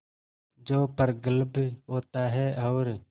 जो प्रगल्भ होता है और